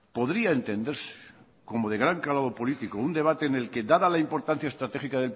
podría entenderse como de gran calado político un debate en el que dada la importancia estratégica